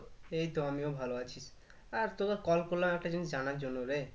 এইতো আমিও ভালো আছি আর call করলাম একটা জিনিস জানার জন্য রে